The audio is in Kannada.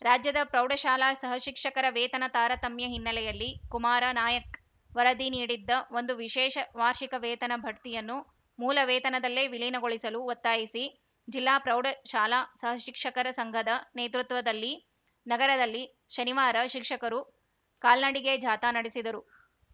ರಾಜ್ಯದ ಪ್ರೌಢಶಾಲಾ ಸಹ ಶಿಕ್ಷಕರ ವೇತನ ತಾರತಮ್ಯ ಹಿನ್ನೆಲೆಯಲ್ಲಿ ಕುಮಾರ ನಾಯಕ್‌ ವರದಿ ನೀಡಿದ್ದ ಒಂದು ವಿಶೇಷ ವಾರ್ಷಿಕ ವೇತನ ಬಡ್ತಿಯನ್ನು ಮೂಲ ವೇತನದಲ್ಲೇ ವಿಲೀನಗೊಳಿಸಲು ಒತ್ತಾಯಿಸಿ ಜಿಲ್ಲಾ ಪ್ರೌಢಶಾಲಾ ಸಹ ಶಿಕ್ಷಕರ ಸಂಘದ ನೇತೃತ್ವದಲ್ಲಿ ನಗರದಲ್ಲಿ ಶನಿವಾರ ಶಿಕ್ಷಕರು ಕಾಲ್ನಡಿಗೆ ಜಾಥಾ ನಡೆಸಿದರು